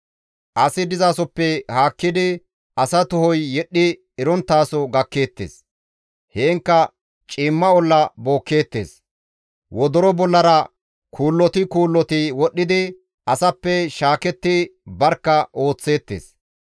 Asi dizasoppe haakkidi, asa tohoy yedhdhi eronttaso gakkeettes. Heenkka ciimma olla bookkeettes; wodoro bollara kuulloti kuulloti wodhidi asappe shaaketti barkka ooththeettes.